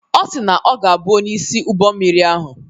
Ọ si na ọ ga-abụ onye isi ụgbọ mmiri ahụ.